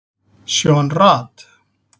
Sean Rad